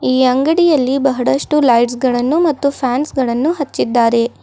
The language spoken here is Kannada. ಈ ಅಂಗಡಿಯಲ್ಲಿ ಬಹಳಷ್ಟು ಲೈಟ್ಸಗಳನ್ನು ಮತ್ತು ಫ್ಯಾನ್ಸ್ಗಳನ್ನು ಹಚ್ಚಿದ್ದಾರೆ.